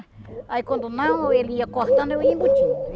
Aí quando não, ele ia cortando, eu ia embutindo.